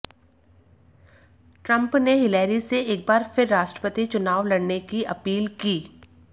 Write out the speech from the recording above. Trump ने Hillary से एक बार फिर राष्ट्रपति चुनाव लड़ने की अपील की